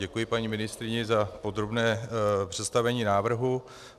Děkuji paní ministryni za podrobné představení návrhu.